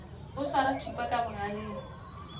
o swara thipa ka bogaleng